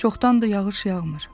Çoxdandır yağış yağmır.